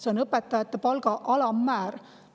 See on palga alammäär.